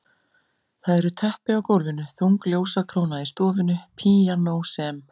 Það eru teppi á gólfinu, þung ljósakróna í stofunni, píanó sem